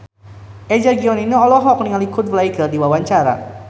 Eza Gionino olohok ningali Coldplay keur diwawancara